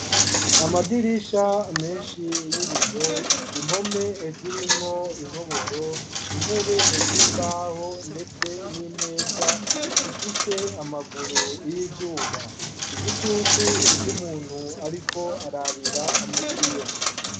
Amadirisha menshi y'ibiyo impome zirimwo intoboro intebe z'imbaho ndetse n'imeza zifise amaguru y'ivyuma igitutu c'umuntu ariko arabira mu kiyo.